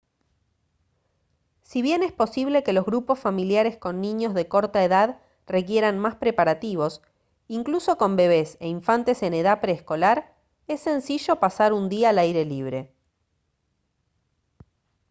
si bien es posible que los grupos familiares con niños de corta edad requieran más preparativos incluso con bebés e infantes en edad preescolar es sencillo pasar un día al aire libre